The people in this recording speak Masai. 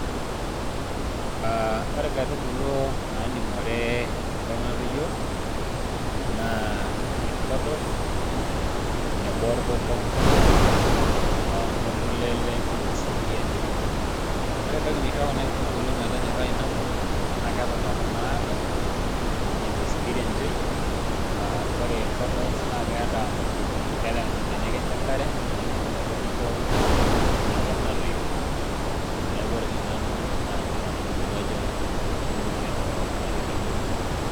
Ah ore nkaitubulu naning'ore enkop natoyio, naa irkodos, tenebo orpopong',ontulele onkosikirianjo. Ore entoki naisho kuna aitubulu metonyorrai inakop, na keeta ntona naado, enaa enkosikirianjoi. Ah ore irkodos na keeta benek enche enkare, neeku kisho metobiko enaa tinakop natoyio, neeku ore tenanu naa, nena aitubulu ajo kening'ore enkop natoyio.